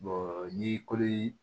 n'i koli